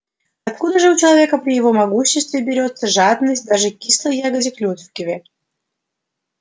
откуда же у человека при его могуществе берётся жадность даже к кислой ягоде клюкве